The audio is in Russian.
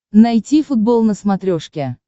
найти футбол на смотрешке